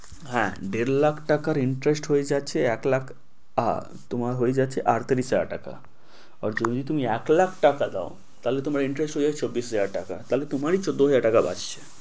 হ্যাঁ দেড় লাখ টাকার interest হয়ে যাচ্ছে এক লাখ ~তোমার হয়ে যাচ্ছে আটত্রিশ হাজার টাকা। আর যদি তুমি এক লাখ টাকা দেও তাহলে তোমার interesr হয়ে যাচ্ছে চব্বিশ হাজার টাকা। তাহলে তোমারি তো চৌদ্দ হাজার টাকা বাঁচ্ছে।